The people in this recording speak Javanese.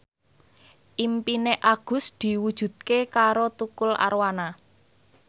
impine Agus diwujudke karo Tukul Arwana